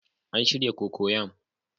An shirya cocoyam